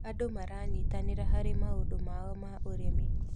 Andũ maranyitanĩra harĩ maũndũ mao ma ũrĩmi.